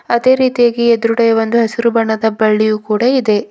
ಅದೇ ರೀತಿಯಾಗಿ ಎದ್ರುಗಡೇ ಒಂದು ಹಸಿರು ಬಣ್ಣದ ಬಳ್ಳಿಯು ಕೂಡಾ ಇದೆ.